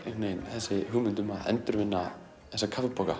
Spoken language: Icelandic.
þessi hugmynd um að endurvinna þessa